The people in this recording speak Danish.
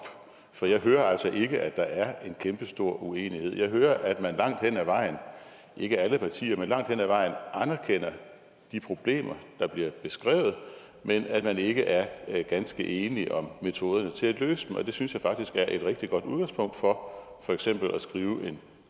for jeg hører altså ikke at der er en kæmpestor uenighed jeg hører at man langt hen ad vejen ikke alle partier men langt hen ad vejen anerkender de problemer der bliver beskrevet men at man ikke er ganske enige om metoderne til at løse dem og det synes jeg faktisk er et rigtig godt udgangspunkt for for eksempel at skrive en